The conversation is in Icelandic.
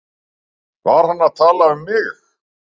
Var hann að tala um mig?